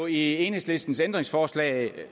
i enhedslistens ændringsforslag er